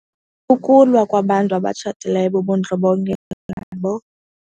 Ukulwa kwabantu abatshatileyo bubundlobongela nabo.